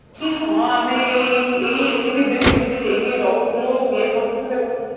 କି ହଁ ଆମେ ଏଇ ଏତିକି ଦିନ କେମିତି ହେଇକି ରହୁଥିଲୁ ଇଏ କରୁଥିଲୁ ସେ କରୁଥିଲୁ